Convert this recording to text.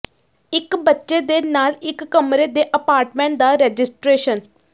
ਇਕ ਬੱਚੇ ਦੇ ਨਾਲ ਇਕ ਕਮਰੇ ਦੇ ਅਪਾਰਟਮੈਂਟ ਦਾ ਰਜਿਸਟਰੇਸ਼ਨ